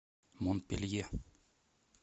монпелье